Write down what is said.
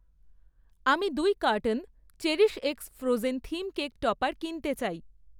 আমি দুই carton CherishX frozen theme cake topper কিনতে চাই।